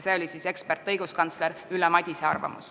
Selline oli eksperdi, õiguskantsler Ülle Madise arvamus.